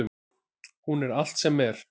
Hún er allt sem er.